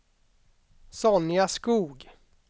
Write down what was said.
Sonja Skoog